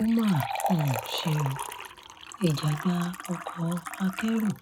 ó mà um ṣe o ìjàgbá ọkọ akẹ́rù